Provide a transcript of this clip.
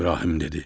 İbrahim dedi: